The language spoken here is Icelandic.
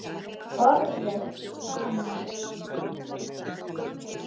BORÐIÐ SAMAN